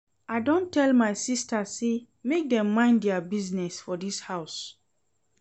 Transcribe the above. I don tell my sistas sey make dem mind their business for dis house.